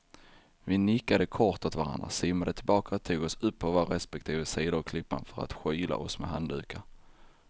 Vi nickade kort åt varandra, simmade tillbaka och tog oss upp på våra respektive sidor av klippan för att skyla oss med handdukar.